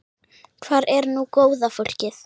Hvar er nú góða fólkið?